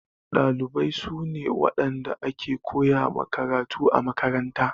Ɗalibai su ne waɗanda ake koya ma karatu a makaranta.